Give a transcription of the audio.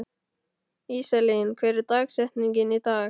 Íselín, hver er dagsetningin í dag?